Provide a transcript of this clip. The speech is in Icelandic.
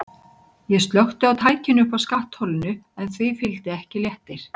Ég slökkti á tækinu uppi á skattholinu en því fylgdi ekki léttir.